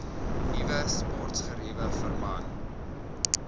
nuwe sportgeriewe verband